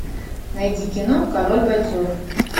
найди кино король бойцов